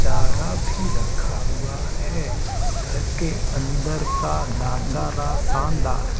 चारा भी रखा हुआ है घर के अंदर का नाजारा शानदार--